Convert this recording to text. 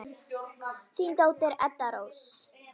Þín dóttir, Edda Rósa.